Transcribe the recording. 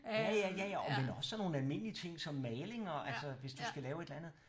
Ja ja ja ja åh men også sådan nogle almindelige ting som maling og altså hvis du skal lave et eller andet